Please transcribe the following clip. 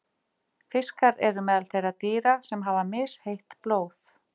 Fiskar eru meðal þeirra dýra sem hafa misheitt blóð.